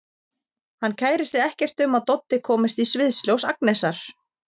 Hann kærir sig ekkert um að Doddi komist í sviðsljós Agnesar.